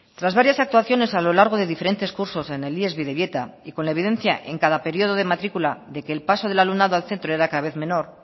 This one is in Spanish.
tras varias actuaciones a lo largo de diferentes cursos en el ies bidebieta y con la evidencia en cada periodo de matrícula de que el paso del alumnado al centro era cada vez menor